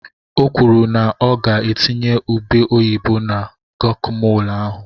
O kwuru na ọ ga-etinye ube oyibo na gokamol ahụ.